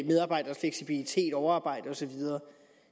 medarbejderes fleksibilitet overarbejde og så videre